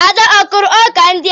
Ada akụrụ ọkà ndị a?